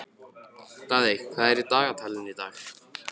Daðey, hvað er í dagatalinu í dag?